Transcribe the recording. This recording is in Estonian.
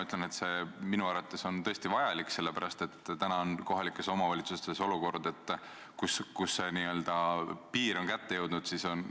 See on minu arvates tõesti vajalik, sest kohalikes omavalitsustes on olukord, kus see n-ö piir on kätte jõudnud.